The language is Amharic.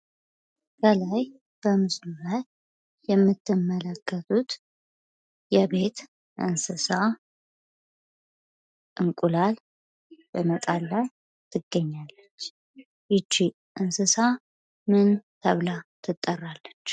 ከላይ በምስሉ ላይ የምትመለከቱት የቤት እንስሳት እንቁላል በመጣል ላይ ትገኛለች። ይቺ እንስሳት ምን ተብላ ትጠራለች?